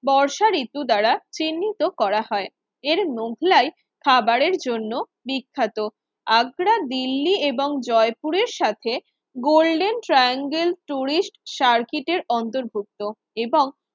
বর্ষা ঋতু দ্বারা চিহ্নিত করা হয় এর মোগলাই খাবারের জন্য বিখ্যাত আগ্রা দিল্লি এবং জয়পুরের সাথে গোল্ডেন ট্রায়াঙ্গেল টুরিস্ট সার্কিটের অন্তর্ভুক্ত এবং